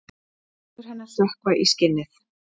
Neglur hennar sökkva í skinnið.